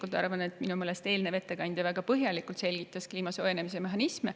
Mina arvan isiklikult, et eelmine ettekandja selgitas väga põhjalikult kliima soojenemise mehhanisme.